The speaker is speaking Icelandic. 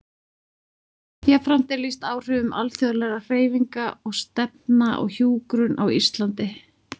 Jafnframt er lýst áhrifum alþjóðlegra hreyfinga og stefna á hjúkrun á Íslandi.